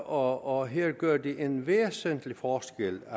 og her gør det en væsentlig forskel